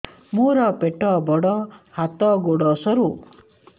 ମୋର ପେଟ ବଡ ହାତ ଗୋଡ ସରୁ